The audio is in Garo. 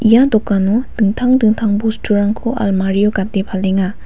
ia dokano dingtang dingtang bosturangko almari-o gate palenga.